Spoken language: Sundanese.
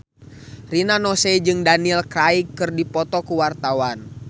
Rina Nose jeung Daniel Craig keur dipoto ku wartawan